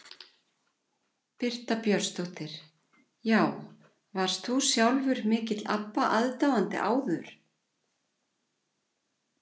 Birta Björnsdóttir: Já, varst þú sjálfur mikill Abba aðdáandi áður?